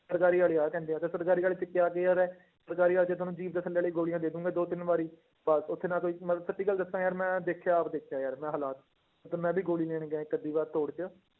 ਸਰਕਾਰੀ ਵਾਲੇ ਆਹ ਕਹਿੰਦੇ ਤੇ ਸਰਕਾਰੀ ਵਾਲੇ 'ਚ ਕਿਆ care ਹੈ, ਸਰਕਾਰੀ ਵਾਲੇ 'ਚ ਤੁਹਾਨੂੰ ਵਾਲੀ ਗੋਲੀਆਂ ਦੇ ਦਓਗੇ ਦੋ ਤਿੰਨ ਵਾਰੀ, ਬਸ ਉੱਥੇ ਨਾ ਕੋਈ ਮੈਂ ਸੱਚੀ ਗੱਲ ਦੱਸਾਂ ਯਾਰ ਮੈਂ ਦੇਖਿਆ ਆਪ ਦੇਖਿਆ ਯਾਰ ਮੈਂ ਹਾਲਾਤ, ਤੇ ਮੈਂ ਵੀ ਗੋਲੀ ਲੈਣ ਗਿਆ ਇੱਕ ਅੱਧੀ ਵਾਰ ਤੋੜ 'ਚ